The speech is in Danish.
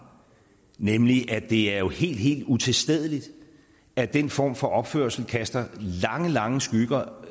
nemlig at det er helt helt utilstedeligt at den form for opførsel kaster lange lange skygger